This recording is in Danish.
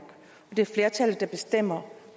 det er flertallet der bestemmer